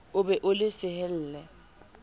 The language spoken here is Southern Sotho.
o be o le sehelle